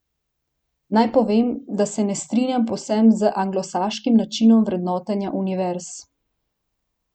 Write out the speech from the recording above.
Naj povem, da se ne strinjam povsem z anglosaškim načinom vrednotenja univerz.